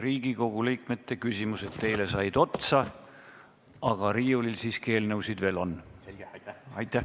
Riigikogu liikmete küsimused teile said otsa, aga riiulil siiski eelnõusid veel on.